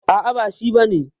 A'a ba shi bane.